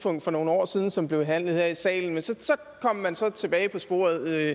om for nogle år siden som blev behandlet her i salen men så kom man så tilbage på sporet